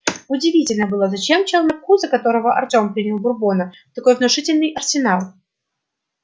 удивительно было зачем челноку за которого артём принял бурбона такой внушительный арсенал